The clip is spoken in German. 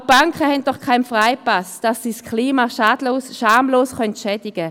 Auch die Banken haben keinen Freipass, das Klima schamlos zu schädigen.